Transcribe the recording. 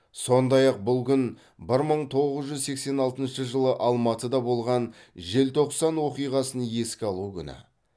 сондай ақ бұл күн бір мың тоғыз жүз сексен алтыншы жылы алматыда болған желтоқсан оқиғасын еске алу күні